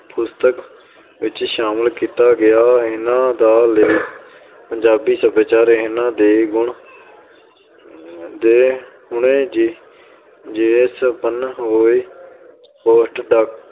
ਪੁਸਤਕ ਵਿੱਚ ਸ਼ਾਮਲ ਕੀਤਾ ਗਿਆ ਇਹਨਾਂ ਦਾ ਪੰਜਾਬੀ ਸੱਭਿਆਚਾਰ ਇਹਨਾਂ ਦੇ ਦੇ ਹੁਣੇ ਜੇ ਜੇ ਸੰਪੰਨ ਹੋਏ